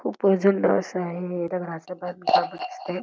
खूपच जून असं आहे दगडच बांधकाम दिसतंय.